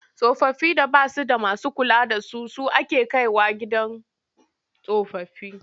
Tsofaffin da ba su da masu kula da su su ake kai wa gidan tsofaffi.